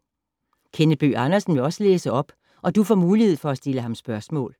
Kenneth Bøgh Andersen vil også læse op, og du får mulighed for at stille ham spørgsmål.